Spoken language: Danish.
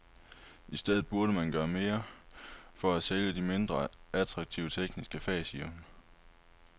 I stedet burde man gøre mere for at sælge de mindre attraktive, tekniske fag, siger hun.